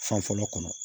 Fan fɔlɔ kɔnɔ